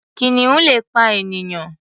Kìnìun le pa ènìyàn.